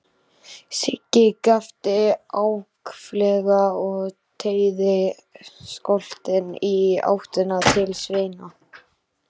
Siggi gapti ákaflega og teygði skoltinn í áttina til Svenna.